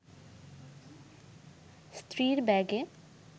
স্ত্রীর ব্যাগে